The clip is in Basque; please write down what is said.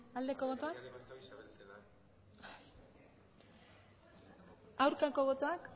aurkako botoak